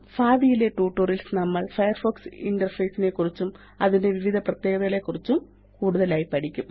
ഭാവിയിലെ ട്യൂട്ടോറിയൽസ് ല് നമ്മള് ഫയർഫോക്സ് ഇന്റർഫേസ് നെക്കുറിച്ചും അതിന്റെ വിവിധ പ്രത്യേകതകളെക്കുറിച്ചും കൂടുതലായി പഠിക്കും